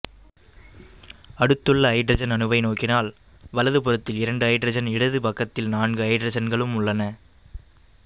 அடுத்துள்ள ஐதரசன் அணுவை நோக்கினால் வலது புறத்தில் இரண்டு ஐதரசனும் இடது பக்கத்தில் நான்கு ஐதரசன்களும் உள்ளன